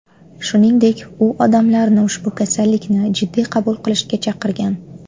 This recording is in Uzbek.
Shuningdek, u odamlarni ushbu kasallikni jiddiy qabul qilishga chaqirgan.